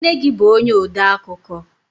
Nne gi bu onye odeakụkọ?